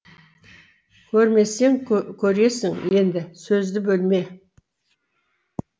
көрмесең көресің енді сөзді бөлме